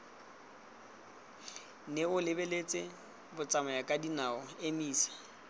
nne o lebeletse batsamayakadinao emisa